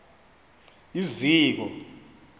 iziko